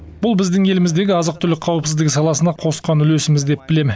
бұл біздің еліміздегі азық түлік қауіпсіздігі саласына қосқан үлесіміз деп білем